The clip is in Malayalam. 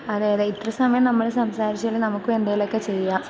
അതെയതെ. ഇത്രേം സമയം നമ്മൾ സംസാരിച്ചേല് നമുക്കും എന്തേലുമൊക്കെ ചെയ്യാം.